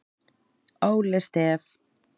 Óli Stef